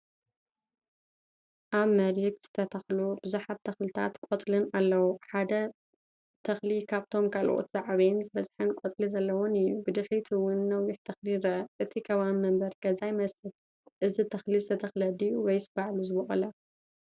ኣብ መሬት ዝተተኽሉ ብዙሓት ተኽልታትን ቆጽልን ኣለዉ። ሓደ ተኽሊ ካብቶም ካልኦት ዝዓበየን ዝበዝሐ ቆጽሊ ዘለዎን እዩ። ብድሕሪት እውን ነዊሕ ተኽሊ ይርአ። እቲ ከባቢ መንበሪ ገዛ ይመስል። እዚ ተኽሊ ዝተተኽለ ድዩ ወይስ ባዕሉ ዝበቆለ?